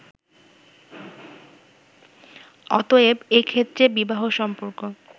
অতএব, এ ক্ষেত্রে বিবাহ-সম্পর্ক